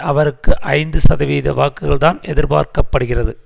அவருக்கு ஐந்து சதவிகித வாக்குகள்தான் எதிர்பார்க்க படுகிறது